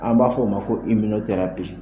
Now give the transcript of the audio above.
An b'a fɔ o ma ko